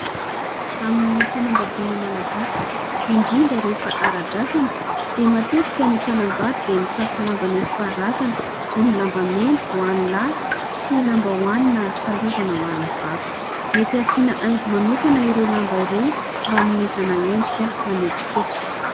Amin'ny fanambadiana malagasy, indrindra rehefa ara-drazana, dia matetika ny mpanambady dia mitafy lamba netim-paharazana toy ny lambamena ho an'ny lahy sy lambahoany na salovana ho an'ny vavy. Mety hasiana haingo manokana ireo lamba ireo mba hanomezana endrika manetriketrika.